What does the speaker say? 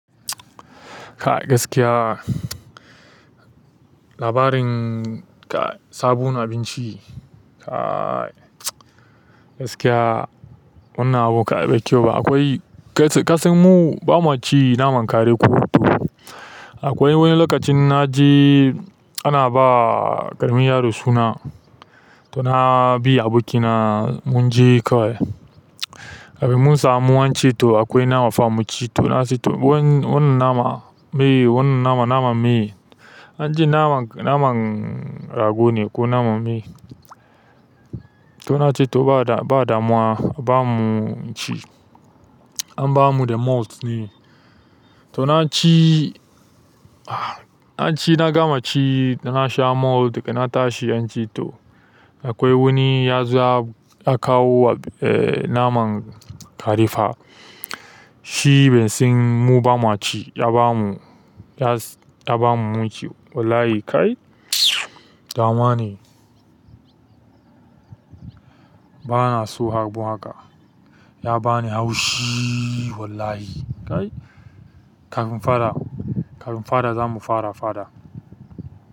Kai gaskiya labarin ka sabon abinci kai gaskiya wannan abu kai bai kyau ba. Akwai ƙasanmu bamaci naman kare ko toh. Akwai wani lokacin na je ana ba ƙaramin yaro suna to na bi abokina mun je kawai. Mun samu abinci to akwai nama fa mu ci to na ce to wannan naman me wannan naman naman me? Nace naman rago ne ko naman me to na ce to badamuwa kuba mu muci an ba mu da malt ne. To na ci na ci na gama ci na sha malt daga na tashi an ce to akwai wani ya zuwa ya kawo naman kare fa. Shi baisan mu bamaci ya ba mu munci wallahi kai ɗan uwa ne. Bana so abu haka. Ya ba ni haushi wallahi kai. Faɗa, kar in fara zamu fara faɗa.